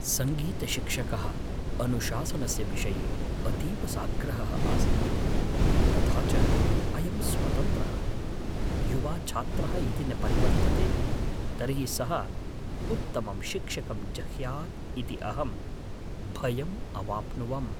सङ्गीतशिक्षकः अनुशासनस्य विषये अतीव साग्रहः आसीत्, तथा च अयं स्वतन्त्रः, युवा छात्रः यदि न परिवर्तते तर्हि सः उत्तमं शिक्षकं जह्यात् इति अहं भयम् अवाप्नुवम्।